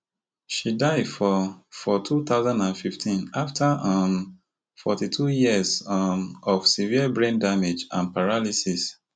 she die for for two thousand and fifteen after um forty-two years um of severe brain damage and paralysis